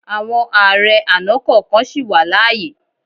Àwọn ààrẹ àná kọ̀ọ̀kan sì wà láàyè.